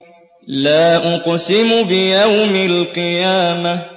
لَا أُقْسِمُ بِيَوْمِ الْقِيَامَةِ